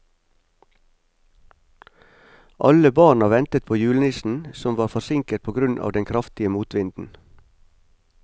Alle barna ventet på julenissen, som var forsinket på grunn av den kraftige motvinden.